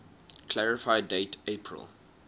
clarify date april